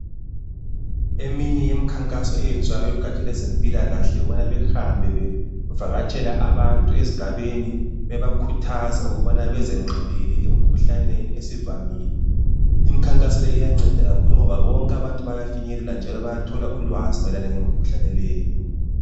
Eminye yemikhankaso enziwa ngegatsha lwezempilakahle yikubana behambe bevakatshela abantu ezigabeni bebakhuthaza ukubana bezenqabele emikhuhlaneni esivamile. lmikhankaso le iyanceda kakhulu ngoba bonke abantu bayafinyelelwa njalo bayathola ulwazi mayelana lemikhuhlane leyi.